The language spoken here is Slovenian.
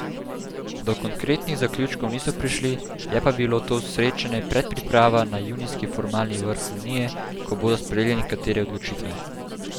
Do konkretnih zaključkov niso prišli, je pa bilo to srečanje predpriprava na junijski formalni vrh Unije, ko bodo sprejeli nekatere odločitve.